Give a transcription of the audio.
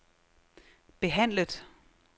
behandlet